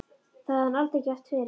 Það hafði hann aldrei gert fyrr.